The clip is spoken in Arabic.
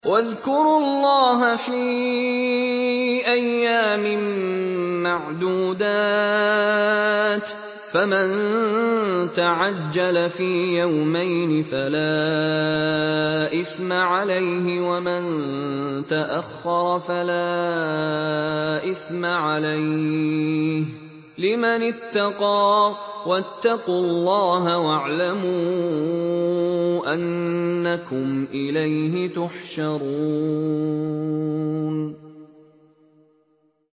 ۞ وَاذْكُرُوا اللَّهَ فِي أَيَّامٍ مَّعْدُودَاتٍ ۚ فَمَن تَعَجَّلَ فِي يَوْمَيْنِ فَلَا إِثْمَ عَلَيْهِ وَمَن تَأَخَّرَ فَلَا إِثْمَ عَلَيْهِ ۚ لِمَنِ اتَّقَىٰ ۗ وَاتَّقُوا اللَّهَ وَاعْلَمُوا أَنَّكُمْ إِلَيْهِ تُحْشَرُونَ